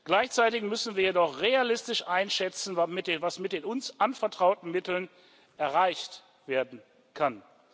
Gleichzeitig müssen wir jedoch realistisch einschätzen, was mit den uns anvertrauten Mitteln erreicht werden kann.